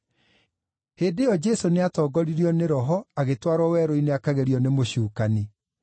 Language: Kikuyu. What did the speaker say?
Hĩndĩ ĩyo Jesũ nĩatongoririo nĩ Roho agĩtwarwo werũ-inĩ akagerio nĩ mũcukani.